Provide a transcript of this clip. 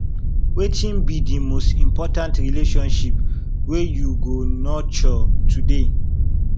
wetin be di most important relationship wey you go nurture today